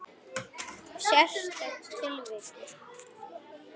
Sérstök tilvik.